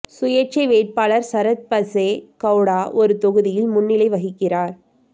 சுயேட்சை வேட்பாளர் சரத் பசே கௌடா ஒரு தொகுதியில் முன்னிலை வகிக்கிறார்